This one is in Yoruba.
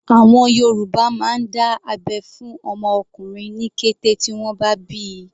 Àwọn Yorùbá máa ń dá abẹ́ fún ọmọ ọkùnrin ní kété tí wọ́n bá bíi.